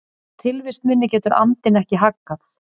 Tilvist minni getur andinn ekki haggað.